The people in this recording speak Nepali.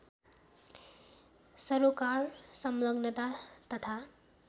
सरोकार सङ्लग्नता तथा